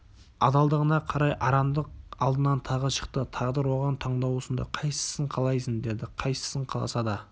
адалдығына қарай арамдық алдынан тағы шықты тағдыр оған таңдау ұсынды қайсысын қалайсың деді қайсысын қаласа да